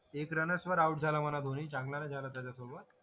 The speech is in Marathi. एक रनच वर आऊट झाला म्हणा धोनी चांगलं नाय झाला त्याच्यासोबत